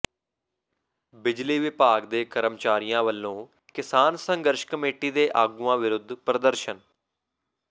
ਬਿਜਲੀ ਵਿਭਾਗ ਦੇ ਕਰਮਚਾਰੀਆਂ ਵੱਲੋਂ ਕਿਸਾਨ ਸੰਘਰਸ਼ ਕਮੇਟੀ ਦੇ ਆਗੂਆਂ ਵਿਰੁੱਧ ਪ੍ਰਦਰਸ਼ਨ